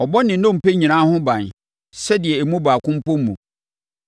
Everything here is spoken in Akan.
ɔbɔ ne nnompe nyinaa ho ban, sɛdeɛ emu baako mpo mmu.